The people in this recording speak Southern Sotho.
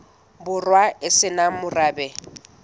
borwa e se nang morabe